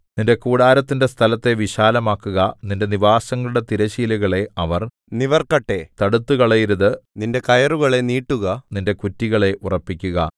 നിന്റെ കൂടാരത്തിന്റെ സ്ഥലത്തെ വിശാലമാക്കുക നിന്റെ നിവാസങ്ങളുടെ തിരശ്ശീലകളെ അവർ നിവർക്കട്ടെ തടുത്തുകളയരുത് നിന്റെ കയറുകളെ നീട്ടുക നിന്റെ കുറ്റികളെ ഉറപ്പിക്കുക